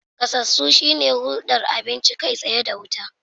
Gasasu shine hulɗar abinci kai tsaye da wuta.